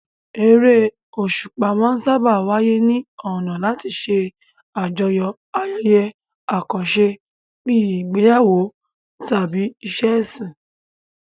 Eré òṣùpá máa ń sáábà wáyé ní ọ̀nà láti ṣe àjọyọ̀ ayẹyẹ àkànṣe bíi ìgbéyàwó tàbí ìṣe ẹ̀sìn.